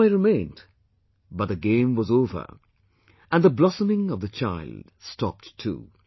The toy remained, but the game was over and the blossoming of the child stopped too